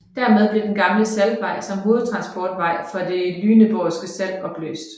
Dermed blev den gamle saltvej som hovedtransportvej for det Lüneborgske salt opløst